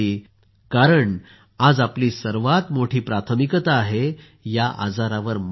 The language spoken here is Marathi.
कारण आज आपली सर्वात मोठी प्राथमिकता आहे या आजारावर मात करणे